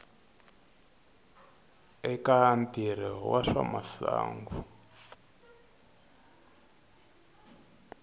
eka ntirho wa swa masangu